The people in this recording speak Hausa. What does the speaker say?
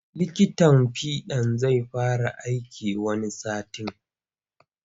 Likitan fiɗan zai fara aiki wani satin.